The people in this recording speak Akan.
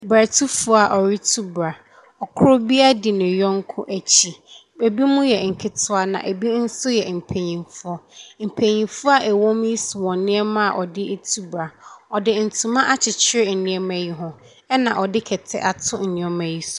Bratufoɔ a wɔretu bra. Koro bira di ne yɔnko akyi. Binom yɛ nketewa na ɛbi nso yɛ mpanimfoɔ. Manimfoɔ a wɔwɔ mu yi so wɔn nneɛma a wɔde retu bra. Wɔde ntoma akyeyere nneɛma yi ho, ɛna wɔde kɛta ato nneɛma yi so.